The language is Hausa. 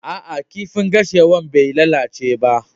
Aa, kifin geisha'n bai lallace ba.